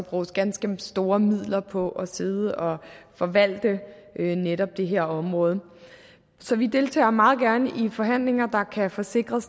bruges ganske store midler på at sidde og forvalte netop det her område så vi deltager meget gerne i forhandlinger der kan få sikret